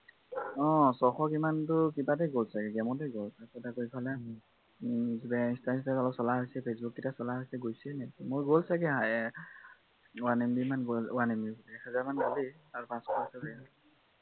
অ ছশ কিমানটো কিবাটে গল চাগে game টে গল তাৰপা আকৌ এইফালে insta -চিনস্টা চলা হৈছে facebook কেইটা চলা হৈছে গৈছে এনেকে মোৰ গল ছাগে one m b মান গল এহাজাৰ মান গল আৰু পাচশ আছে ছাগে